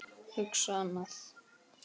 Hugsa annað.